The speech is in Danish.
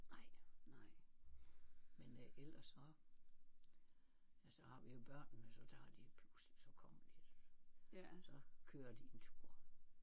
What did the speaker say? Nej nej men øh ellers så ja så har vi jo børnene så tager de bussen så kommer de så kører de en tur